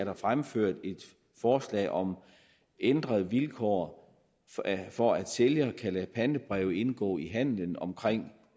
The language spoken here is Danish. er fremført et forslag om ændrede vilkår for at sælger kan lade pantebreve indgå i handelen omkring